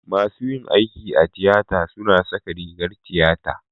masu yin aiki a tiyata suna saka rigar tiyata